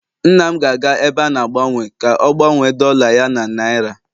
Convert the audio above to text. nna m ga-aga ebe a na-agbanwe ka o gbanwe dolla ya na naira